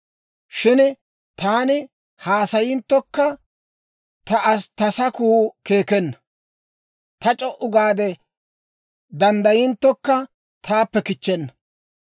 «Shin taani haasayinttokka, ta sakuu keekenna; taani c'o"u gaade danddayinttokka, taappe kichchenna.